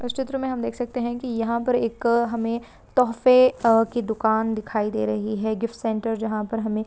इस चित्र मे हम देख शकते है कि याह पर एक हमे तोफे ह कि दुखान दिखाई दे रही गिफ्ट सेंटर जहाँ पर हमें--